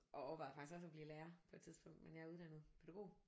Og overvejede faktisk også at blive lærer på et tidspunkt men jeg er uddannet pædagog